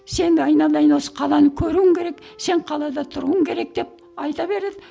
сен айналайын осы қаланы көруің керек сен қалада тұруың керек деп айта береді